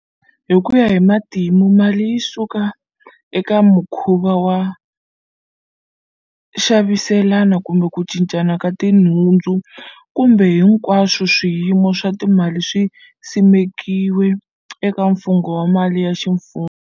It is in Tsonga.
Hikuya hi matimu, Mali yi sukela eka mukhuva wo xaviselana kumbe ku cincana ka tinhundzu, kambe hinkwaswo swiyimiso swa timali swi simekiwe eka mfungo wa mali ya ximfumo.